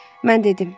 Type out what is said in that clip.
Mən dedim.